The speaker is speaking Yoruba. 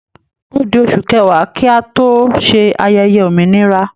Ó di oṣù kẹwàá kí a tó ṣe ayẹyẹ òmìnira